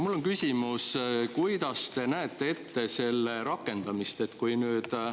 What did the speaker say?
Mul on küsimus, kuidas te näete ette selle rakendamist.